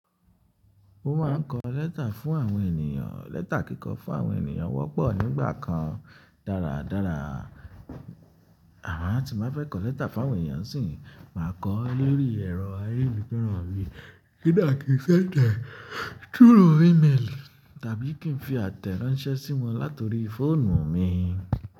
Mo ma ń kọ lẹ́tà fún àwọn ènìyàn. Lẹ́tà kíkọ fún àwọn ènìyàn wọ́pọ̀ nígbà kan. Dáradára, àmo ti bá fẹ́ kọ lẹ́tà fún àwọn ènìyàn síi, mà kọ ó lori ẹ̀rọ ayélujára mí kodà kì í fẹ́ tẹ through iméélì tàbí kí ń fi àtẹ̀ránṣẹ́ sí wọn láti orí fóònù mi.